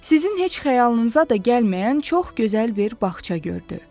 Sizin heç xəyalınıza da gəlməyən çox gözəl bir bağça gördü.